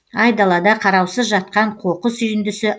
айдалада қараусыз жатқан қоқыс үйіндісі